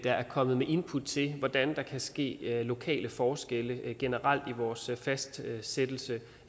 er kommet med input til hvordan der kan ske lokale forskelle generelt i vores fastsættelse